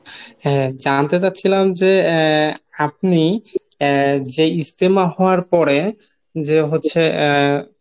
হ্যা জানতে চাচ্ছিলাম যে এ আপনি যে ইজতেমা হওয়ার পরে যে হচ্ছে এ